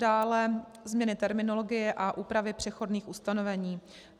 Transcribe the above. Dále změny terminologie a úpravy přechodných ustanovení.